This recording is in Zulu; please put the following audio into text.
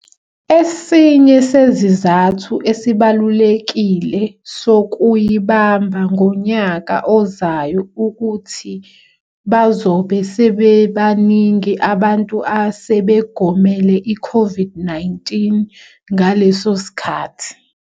Esinye sezizathu esibalulekile sokuyibamba ngonyaka ozayo ukuthi bazobe sebebaningi abantu asebegomele iCOVID-19 ngaleso sikhathi.